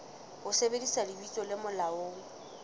ho sebedisa lebitso le molaong